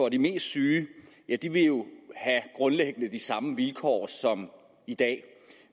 at de mest syge grundlæggende de samme vilkår som i dag